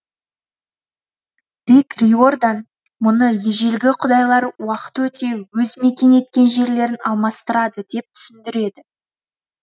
рик риордан мұны ежелгі құдайлар уақыт өте өз мекен еткен жерлерін алмастырады деп түсіндіреді